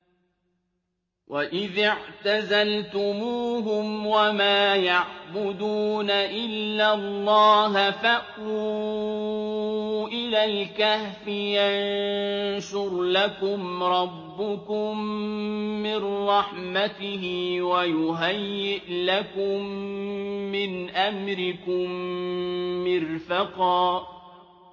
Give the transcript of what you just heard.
وَإِذِ اعْتَزَلْتُمُوهُمْ وَمَا يَعْبُدُونَ إِلَّا اللَّهَ فَأْوُوا إِلَى الْكَهْفِ يَنشُرْ لَكُمْ رَبُّكُم مِّن رَّحْمَتِهِ وَيُهَيِّئْ لَكُم مِّنْ أَمْرِكُم مِّرْفَقًا